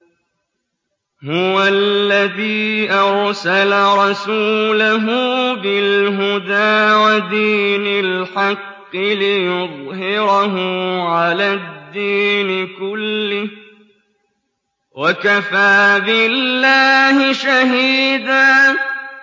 هُوَ الَّذِي أَرْسَلَ رَسُولَهُ بِالْهُدَىٰ وَدِينِ الْحَقِّ لِيُظْهِرَهُ عَلَى الدِّينِ كُلِّهِ ۚ وَكَفَىٰ بِاللَّهِ شَهِيدًا